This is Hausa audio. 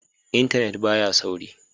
Intanet ba ya sauri.